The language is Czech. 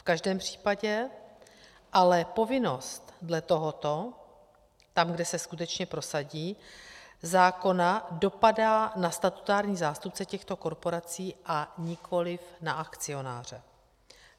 V každém případě ale povinnost dle tohoto - tam, kde se skutečně prosadí - zákona dopadá na statutární zástupce těchto korporací a nikoliv na akcionáře.